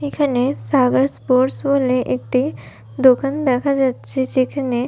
এখানে সার্ভার স্পোর্স বলে একটি দোকান দেখা যাচ্ছে যেখানে--